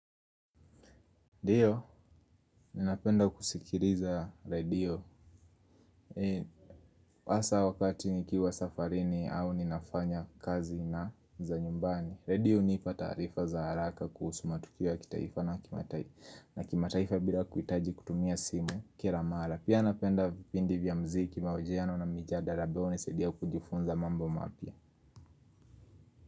Ndiyo, ninapenda kusikiliza redio. Hasa wakati nikiwa safarini au ninafanya kazi na za nyumbani redio hunipa taarifa za haraka kuhusu matukio ya kitaifa na kimataifa bila kuhitaji kutumia simu kila mara pia napenda vipindi vya muziki mahojiano na mijadala ambayo hunisadia kujifunza mambo mapya.